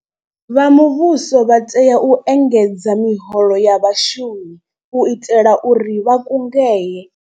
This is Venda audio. Vha muvhuso vha tea u engedza miholo ya vhashumi u itela uri vha kungedzee.